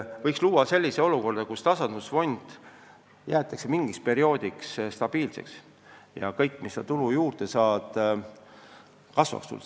Võiks luua sellise olukorra, kus tasandusfond jäetakse mingiks perioodiks stabiilseks ja kõik tulu, mis omavalitsus juurde saab, jääb tema kasutada.